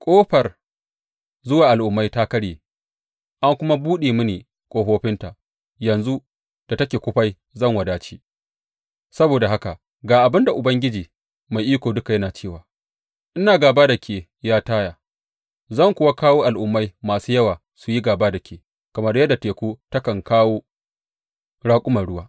Ƙofar zuwa al’ummai ta karye, an kuma buɗe mini ƙofofinta; yanzu da take kufai zan wadace,’ saboda haka ga abin da Ubangiji Mai Iko Duka yana cewa ina gāba da ke, ya Taya, zan kuwa kawo al’ummai masu yawa su yi gāba da ke, kamar yadda teku takan kawo raƙuman ruwa.